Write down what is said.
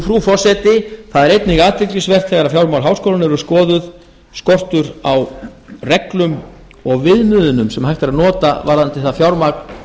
frú forseti það er einnig athyglisvert þegar fjármál háskólanna eru skoðun skortur á reglum og viðmiðunum sem hægt er að nota varðandi það fjármagn